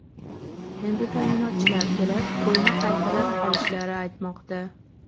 Endi ta’minotchilar kelib, qo‘yni qaytirib olishlarini aytmoqda.